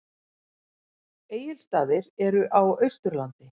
Egilsstaðir eru á Austurlandi.